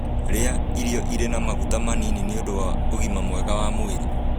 Rĩa irio irĩ na maguta manini nĩũndũ wa ũgima mwega wa mwĩrĩ